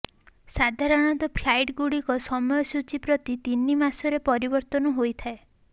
ସାଧାରଣତଃ ପ୍ଲାଇଟ୍ ଗୁଡିକ ସମୟ ସୂଚୀ ପ୍ରତି ତିନି ମାସରେ ପରିବର୍ତ୍ତନ ହୋଇଥାଏ